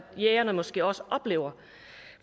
jægerne måske også oplever